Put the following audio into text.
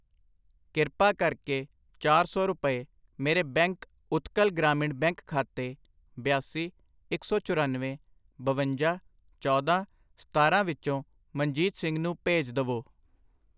ਕ੍ਰਿਪਾ ਕਰਕੇ ਚਾਰ ਸੌ ਰੁਪਏ ਮੇਰੇ ਬੈਂਕ ਉਤਕਲ ਗ੍ਰਾਮੀਣ ਬੈਂਕ ਖਾਤੇ ਬਿਆਸੀ, ਇੱਕ ਸੌ ਚੁਰਾਨਵੇਂ, ਬਵੰਜਾ, ਚੌਦਾਂ, ਸਤਾਰਾਂ ਵਿਚੋਂ ਮਨਜੀਤ ਸਿੰਘ ਨੂੰ ਭੇਜ ਦਵੋ I